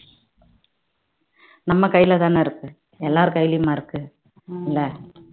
நம்ம கைல தான் இருக்கு எல்லார் கையிலேயுமா இருக்கு இல்ல